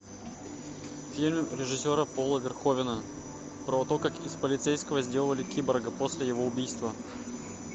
фильм режиссера пола верховена про то как из полицейского сделали киборга после его убийства